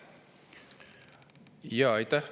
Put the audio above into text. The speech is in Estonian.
Aitäh!